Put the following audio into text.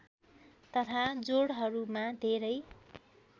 तथा जोडहरूमा धेरै